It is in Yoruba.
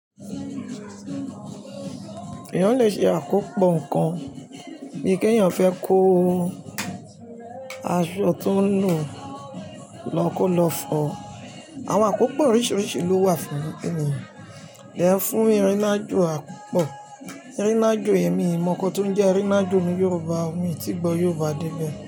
Èèyàn le ṣe àkópọ̀ nǹkan bí i kí èèyàn fẹ́ kó aṣọ tó ń lọ lọ́ kolofo. Àwọn àkópọ̀ oríṣìíríṣìí ló wà fún ènìyàn. Ìyẹ́ fún erinájò àkópọ̀, erinájò èmi mi mọ̀ ọ́n kó tó ń jẹ́ erinájò ní Yorùbá. Òmi tí gbọ Yorùbá dé ibẹ̀